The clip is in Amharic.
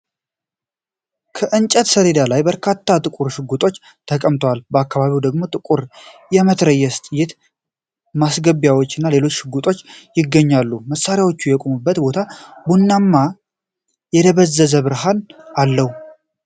ከእንጨት ሰሌዳ ላይ በርካታ ጥቁር ሽጉጦች ተቀምጠዋል። በአካባቢው ደግሞ ጥቁር የመትረየስ ጥይት ማስገቢያዎች እና ሌሎች ሽጉጦች ይገኛሉ። መሳሪያዎቹ የቆሙበት ቦታ ቡናማና የደበዘዘ ብርሃን አለው።